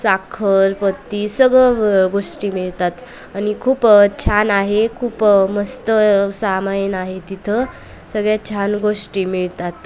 साखर पत्ती सगळ अ गोष्टी मिळतात आणि खूप अ छान आहे खूप अ मस्त सामायन आहे तिथं सगळ्या छान गोष्टी मिळतात.